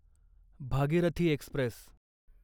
Bhagirathi Express